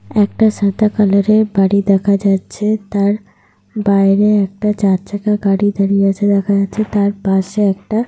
একটা সাদা কালার এর বাড়ি দেখা যাচ্ছে। তার বাইরে একটা চার চাকা গাড়ি দাঁড়িয়ে আছে দেখা যাচ্ছে। তার পাশে একটা।